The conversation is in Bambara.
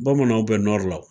Bamananw bɛ nɔri la.